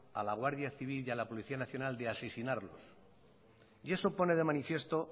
a la guardia civil y la policía nacional de asesinarlos y eso pone de manifiesto